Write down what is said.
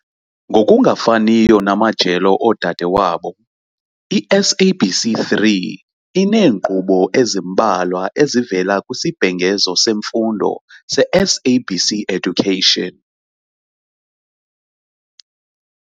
Ngokungafaniyo namajelo odade wabo, i-SABC 3 ineenkqubo ezimbalwa ezivela kwisibhengezo semfundo se-SABC Education.